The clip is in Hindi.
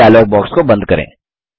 इस डायलॉग बॉक्स को बंद करें